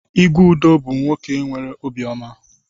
Igwe Udo bu nwoke nwere obi oma.